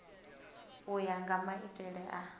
u ya nga maitele a